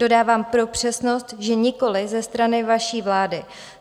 Dodávám pro přesnost, že nikoliv ze strany vaší vlády.